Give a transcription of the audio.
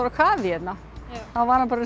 kafi hérna þá var hann bara